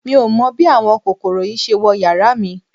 Mi ò mọ bí àwọn kòkòrò yìí ṣe wọ yàrá mi